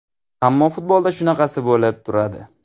Ammo futbolda shunaqasi bo‘lib turadi.